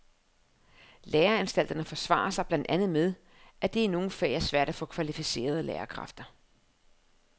Læreanstalterne forsvarer sig blandt andet med, at det i nogle fag er svært at få kvalificerede lærerkræfter.